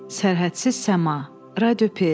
Sərhədsiz Səma, Radio PS.